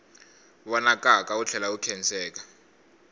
vonakaka wu tlhela wu khenseka